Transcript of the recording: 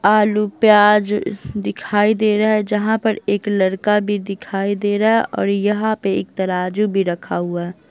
आलू प्याज दिखाई दे रहा है जहाँ पर एक लड़का भी दिखाई दे रहा है और यहाँ पर एक तराजू भी रखा हुआ है।